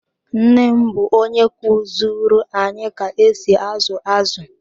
Nne m bụ onye kuziru anyị ka esi azu azụ.